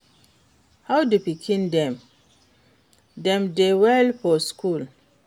How di pikin dem? Dem dey do well for school?